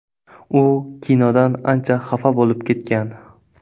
U kinodan ancha xafa bo‘lib ketgan.